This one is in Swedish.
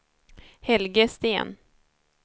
Helge Sten